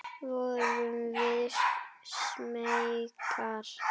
Vorum við smeykar?